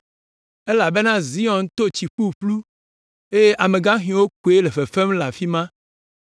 Elabena Zion to tsi ƒuƒlu eye amegaxiwo koe le fefem le afi ma.